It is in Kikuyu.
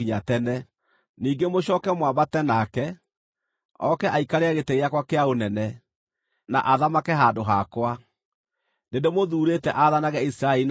Ningĩ mũcooke mwambate nake, oke aikarĩre gĩtĩ gĩakwa kĩa ũnene, na athamake handũ hakwa. Nĩndĩmũthuurĩte aathanage Isiraeli na Juda.”